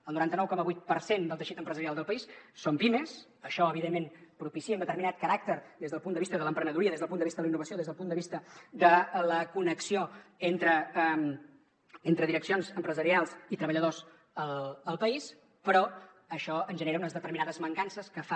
el noranta nou coma vuit per cent del teixit empresarial del país són pimes això evidentment propicia un determinat caràcter des del punt de vista de l’emprenedoria des del punt de vista de la innovació des del punt de vista de la connexió entre direccions empresarials i treballadors al país però això ens genera unes determinades mancances que fan